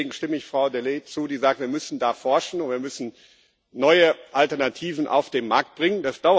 Deswegen stimme ich Frau Delahaye zu, die sagt Wir müssen da forschen, wir müssen neue Alternativen auf den Markt bringen.